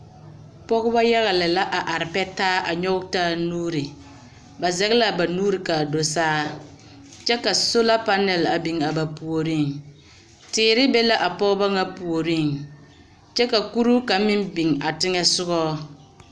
Pɔgebɔ yaga lɛ la a are pɛ taa a nyɔge taa nuuri. Ba zɛge la aba nuuri kaa do saa, kyɛ ka sola panɛl a biŋ a ba puoriŋ. Teere be la pɔgeba ŋa puoriŋ, kyɛ ka kuruu kaŋ meŋ biŋ a teŋɛsogɔ.